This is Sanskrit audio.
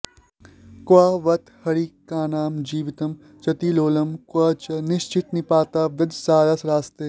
क्व बत हरिणकानां जीवितं चातिलोलं क्व च निशितनिपाता वज्रसाराः शरास्ते